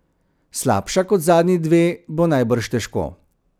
Slabša kot zadnji dve bo najbrž težko.